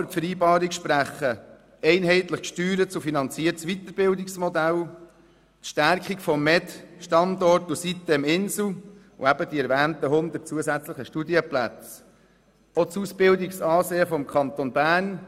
Für die Vereinbarung sprechen vor allem ein einheitlich gesteuertes und finanziertes Weiterbildungsmodell, die Stärkung des Medizinalstandorts Inselspital, die erwähnten 100 zusätzlichen Studienplätze und das Ausbildungsansehen des Kantons Bern.